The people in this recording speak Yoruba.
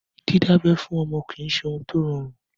Dídábẹ́ fún ọmọ kìí ṣe ohun tó rọrùn.